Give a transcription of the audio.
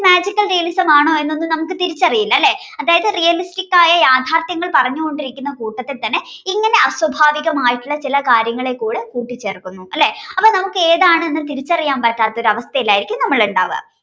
magical realism ആണോ എന്നൊന്നും നമുക്ക് തിരിച്ചറിയില്ല അല്ലേ. അതായത് realistic ആയ യാഥാർത്ഥ്യങ്ങൾ പറഞ്ഞുകൊണ്ടിരിക്കുന്ന കൂട്ടത്തിൽ തന്നെ ഇങ്ങനെ അസ്വാഭാവികമായിട്ടുള്ള ചില കാര്യങ്ങളെ കൂടെ കൂട്ടിച്ചേർക്കുന്നു അല്ലേ. അപ്പോൾ നമുക്ക് ഏതാണ് എന്ന് തിരിച്ചറിയാൻ പറ്റാത്ത ഒരു അവസ്ഥയിൽ ആയിരിക്കും നമ്മൾ ഉണ്ടാവുക